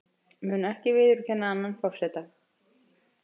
Mun ekki viðurkenna annan forseta